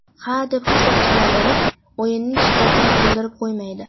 Hadeb hushtak chalaverib, o‘yinning shiddatini o‘ldirib qo‘ymaydi.